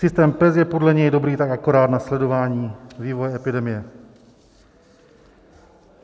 Systém PES je podle něj dobrý tak akorát na sledování vývoje epidemie.